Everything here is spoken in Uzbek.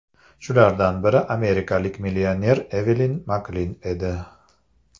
Shulardan biri amerikalik millioner Evelin Maklin edi.